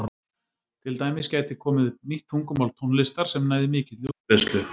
Til dæmis gæti komið upp nýtt tungumál tónlistar sem næði mikilli útbreiðslu.